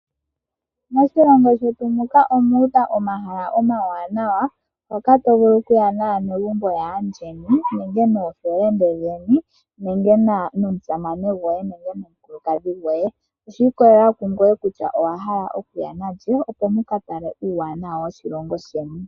Moshilongo shetu muka omuudha omahala omawanawa moka to vulu kuya naanegumbo lyaandjeni nenge noofelende dhoye ,nenge nomusamane gwoye nenge nomukulukadhi gwoye oshi ikolela kungoye kutya owahala okuya nalye opo wu ka tale uuwanawa woshilongo sheni.